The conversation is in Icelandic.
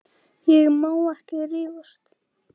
Ég má ekki rífast.